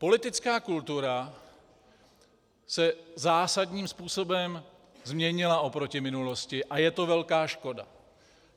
Politická kultura se zásadním způsobem změnila oproti minulosti a je to velká škoda.